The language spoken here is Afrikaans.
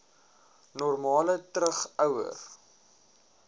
normaal terug ouer